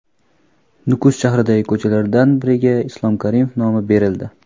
Nukus shahridagi ko‘chalardan biriga Islom Karimov nomi berildi.